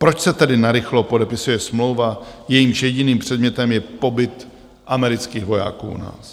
Proč se tedy narychlo podepisuje smlouva, jejímž jediným předmětem je pobyt amerických vojáků u nás?